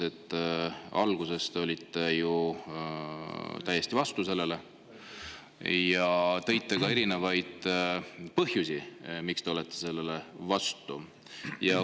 Alguses te olite ju täiesti vastu sellele ja tõite ka erinevaid põhjusi, miks te olete sellele vastu.